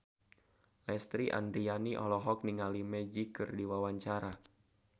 Lesti Andryani olohok ningali Magic keur diwawancara